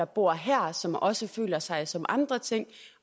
bor her som også føler sig som andre ting